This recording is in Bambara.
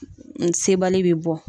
sebali bi bɔ.